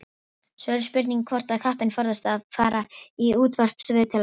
Svo er spurning hvort að kappinn forðist að fara í útvarpsviðtöl eftir þetta.